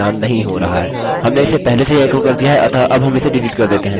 हमने इसे पहले से ही एको कर दिया हैअतः अब हम इसे डिलीट कर देते हैं